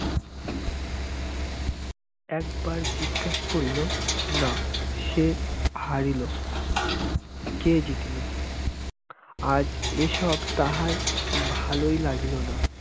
একবার জিজ্ঞাস করিল না সে হারিল কে জিতিল আজ এসব তাহার ভালই লাগিল না